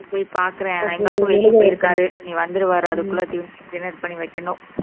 போய் பாக்குறேன் எங்களுக்கும் வெளிய போயிருக்காரு இனி வந்துருவாரு அதுக்குள்ள dinner பண்ணி வைக்கணும்